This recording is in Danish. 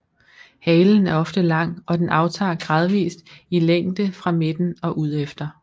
Halen er ofte lang og den aftager gradvist i længde fra midten og udefter